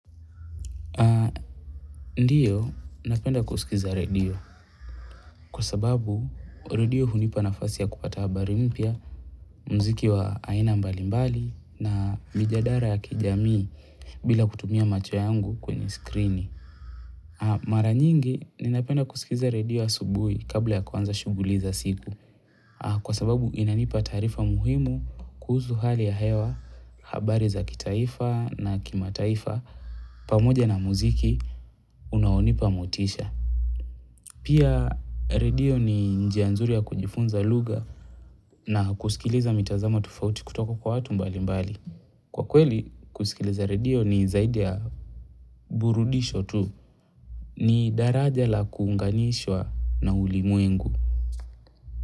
Ndiyo, napenda kusikiza radio kwa sababu radio hunipa nafasi ya kupata habari mpya mziki wa aina mbalimbali na mijadara ya kijamii bila kutumia macho yangu kwenye skrini. Mara nyingi, ninapenda kusikiza radio asubuhi kabla ya kuanza shuguli za siku kwa sababu inanipa taarifa muhimu kuhusu hali ya hewa habari za kitaifa na kimataifa pamoja na muziki unaonipa motisha. Pia redio ni njia nzuri ya kujifunza lugha na kusikiliza mitazamo tofauti kutoka kwa watu mbali mbali. Kwa kweli kusikiliza redio ni zaidi ya burudisho tu ni daraja la kuunganishwa na ulimwengu.